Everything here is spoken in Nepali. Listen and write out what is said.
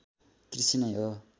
कृषि नै हो